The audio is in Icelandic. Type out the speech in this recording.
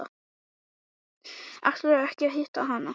Ætlarðu ekki að hitta hana eftir ballið?